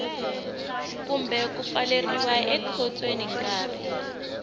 kumbe ku pfaleriwa ekhotsweni nkarhi